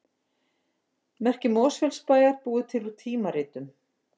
Merki Mosfellsbæjar búið til úr tímaritum